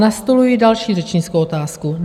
Nastoluji další řečnickou otázku.